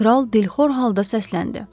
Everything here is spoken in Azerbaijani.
Kral dilxor halda səsləndi.